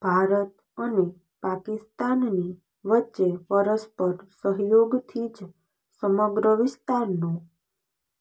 ભારત અને પાકિસ્તાનની વચ્ચે પરસ્પર સહયોગથી જ સમગ્ર વિસ્તારનો